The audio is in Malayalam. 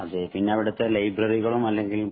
അതേ. പിന്നെ അവിടത്തെ ലൈബ്രറികളും അല്ലെങ്കില്‍